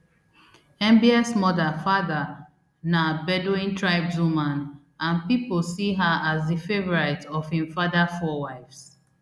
mbs mother fahda na bedouin tribeswoman and pipo see her as di favourite of im father four wives